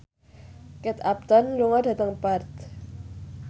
Kate Upton lunga dhateng Perth